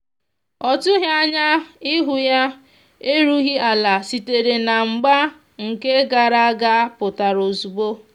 ọ tughi anya ihu yaerughi ala sitere na mgba nke gara aga pụtara ozugbo